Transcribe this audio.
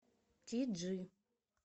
ти джи